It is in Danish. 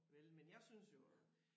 Vel men jeg synes jo